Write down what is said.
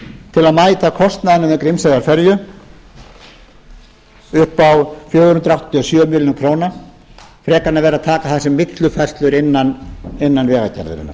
að mæta kostnaðinum við grímseyjarferju upp á fjögur hundruð áttatíu og sjö milljónir króna frekar en að vera að taka það sem millifærslur innan vegagerðarinnar